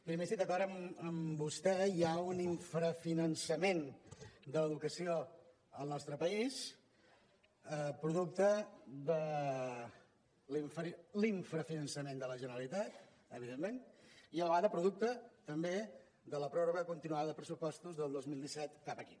primer estic d’acord amb vostè hi ha un infrafinançament de l’educació al nostre país producte de l’infrafinançament de la generalitat evidentment i a la vegada producte també de la pròrroga continuada de pressupostos del dos mil disset cap aquí